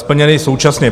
- splněny současně.